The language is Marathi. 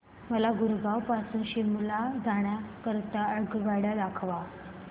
मला गुरगाव पासून शिमला जाण्या करीता आगगाड्या दाखवा